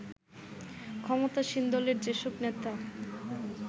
ক্ষমতাসীন দলের যেসব নেতা